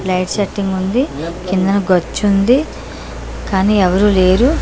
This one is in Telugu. లైట్ సెట్టింగ్ ఉంది కిందన గచ్చుంది కాని ఎవరూ లేరు.